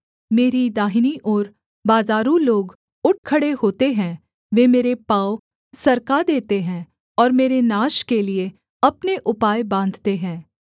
मेरी दाहिनी ओर बाज़ारू लोग उठ खड़े होते हैं वे मेरे पाँव सरका देते हैं और मेरे नाश के लिये अपने उपाय बाँधते हैं